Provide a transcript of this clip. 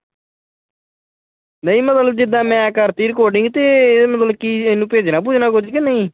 ਨਹੀਂ ਮਤਲਬ ਜਿੱਦਾ ਮੈਂ ਕਰਤੀ recording ਤੇ ਇਹਨੂੰ ਮਤਲਬ ਭੇਜਣਾ-ਭੁਜਣਾ ਕੁਝ ਕੇ ਨਹੀਂ?